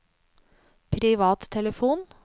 privattelefon